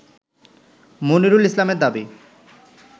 মনিরুল ইসলামের দাবি